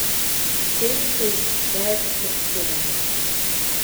Našteli so jih več kot sedemdeset.